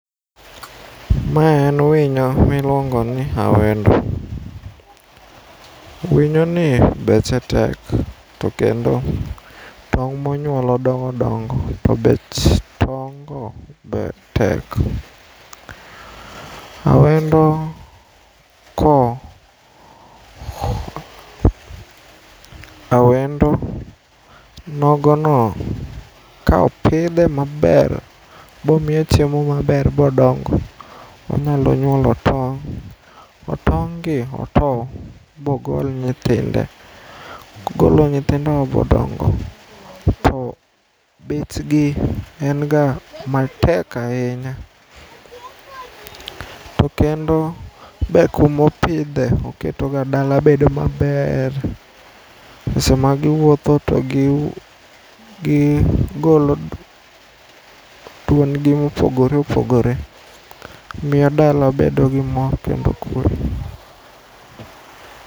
Ma en winyo miluongoni awendo. Winyoni beche tek tokendo tong' monyuolo dongodongo to bech tong'go be tek. Awendo koawendo nogono kaopidhe maber bomiye chiemo maber bodongo, onyalo nyuolo tong' to tong'gi otoo bogol nyithinde. Kogolo nyithindogo bodongo to bechgi enga matek ainya to kendo be kumopidhe oketoga dala bedoga maber. Seche magiwuotho to gigoolo duondgi mopogore opogore. Miyo dala bedo gi mor kendo kue.